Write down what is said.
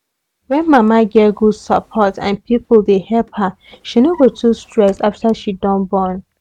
when mama get good support and people dey help her she no go too stress after she don born